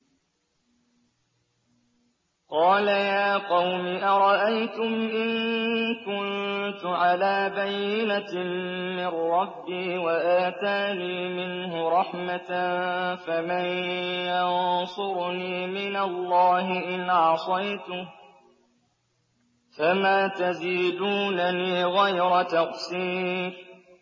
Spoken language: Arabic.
قَالَ يَا قَوْمِ أَرَأَيْتُمْ إِن كُنتُ عَلَىٰ بَيِّنَةٍ مِّن رَّبِّي وَآتَانِي مِنْهُ رَحْمَةً فَمَن يَنصُرُنِي مِنَ اللَّهِ إِنْ عَصَيْتُهُ ۖ فَمَا تَزِيدُونَنِي غَيْرَ تَخْسِيرٍ